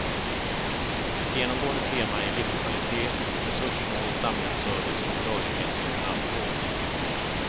Ett genomgående tema är livskvalitet, resurssnål samhällsservice och rörlighet via snabbtåg.